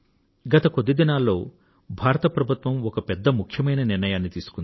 గత కొద్ది రోజులలో భారత ప్రభుత్వం ఒక పెద్దముఖ్యమైన నిర్ణయాన్ని తీసుకుంది